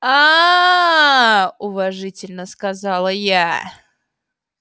ааа уважительно сказала я